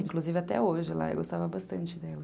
Inclusive até hoje, eu gostava bastante dela.